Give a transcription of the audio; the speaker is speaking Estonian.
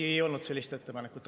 Ei olnud sellist ettepanekut.